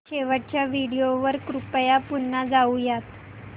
शेवटच्या व्हिडिओ वर कृपया पुन्हा जाऊयात